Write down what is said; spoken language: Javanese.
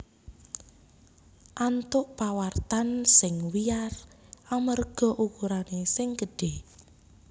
antuk pawartan sing wiyar amarga ukurané sing gedhé